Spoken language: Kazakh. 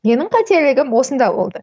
менің қателігім осында болды